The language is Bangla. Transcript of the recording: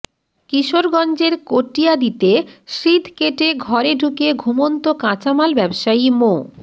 কিশোরগঞ্জের কটিয়াদীতে সিঁধ কেটে ঘরে ঢুকে ঘুমন্ত কাঁচামাল ব্যবসায়ী মো